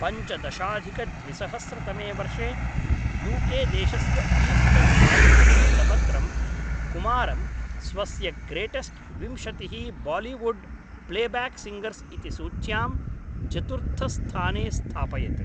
पञ्चदशाधिकद्विसहस्रतमे वर्षे U K देशस्य Eastern Eye इति वृत्तपत्रं कुमारं स्वस्य ग्रेटेस्ट् विंशतिः बालीवुड् प्लेब्याक् सिङ्गर्स् इति सूच्यां चतुर्थस्थाने स्थापयत्।